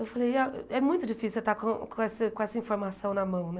Eu falei, ah é muito difícil estar com com essa com essa informação na mão, né?